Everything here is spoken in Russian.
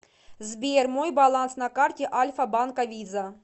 сбер мой баланс на карте альфа банка виза